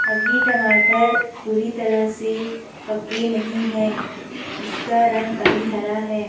अभी टमाटर पूरी तरह से पके नहीं है। इसका रंग अभी हरा है।